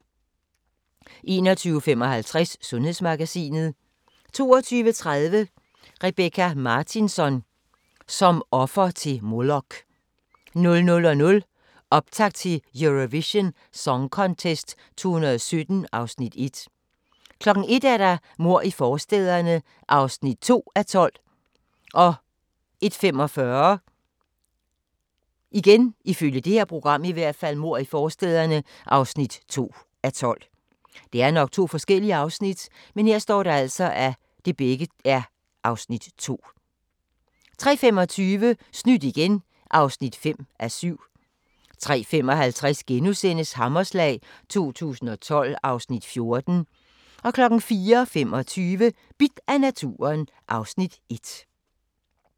21:55: Sundhedsmagasinet 22:30: Rebecka Martinsson: Som offer til Molok 00:00: Optakt til Eurovision Song Contest 2017 (Afs. 1) 01:00: Mord i forstæderne (2:12) 01:45: Mord i forstæderne (2:12) 03:25: Snydt igen (5:7) 03:55: Hammerslag 2012 (Afs. 14)* 04:25: Bidt af naturen (Afs. 1)